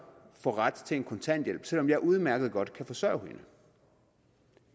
få ret til kontanthjælp selv om jeg udmærket godt kan forsørge hende